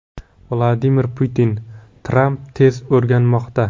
Vladimir Putin: Tramp tez o‘rganmoqda.